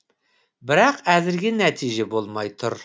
бірақ әзірге нәтиже болмай тұр